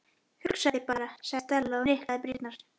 Hugsaðu þér bara- sagði Stella og hnyklaði brýnnar.